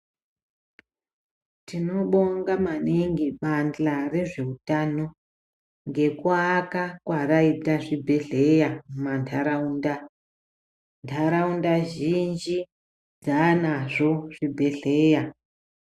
Tinobonga maningi mbanja rezveutano, ngekuaka kwaraita zvibhedhleya munharaunda. Nharaunda zhinji dzanazvo zvibhedhleya.